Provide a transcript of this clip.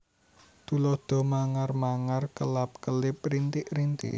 Tuladha mangar mangar kelap kelip rintik rintik